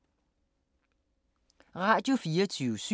Radio24syv